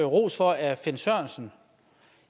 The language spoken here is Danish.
ros for af finn sørensen